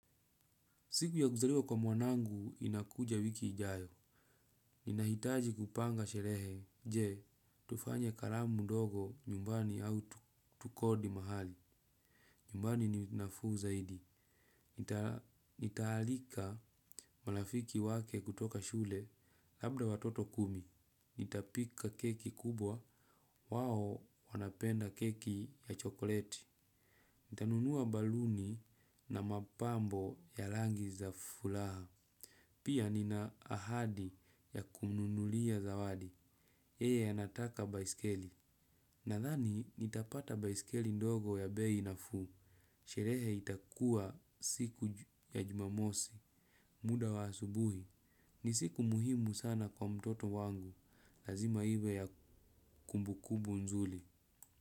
Siku ya kuzaliwa kwa mwanangu inakuja wiki ijayo. Ninahitaji kupanga sherehe. Je, tufanye karamu ndogo nyumbani au tukodi mahali. Nyumbani ni nafuu zaidi nitaalika marafiki wake kutoka shule labda watoto kumi. Nitapika keki kubwa. Wao wanapenda keki ya chokoleti. Nitanunua baluni na mapambo ya rangi za furaha. Pia nina ahadi ya kumnunulia zawadi, yeye anataka baiskeli. Nadhani nitapata baiskeli ndogo ya bei nafuu. Sherehe itakuwa siku ya jumamosi, muda wa asubuhi. Ni siku muhimu sana kwa mtoto wangu, lazima iwe ya kumbukumbu nzuri.